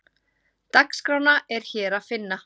Dagskrána er hér að finna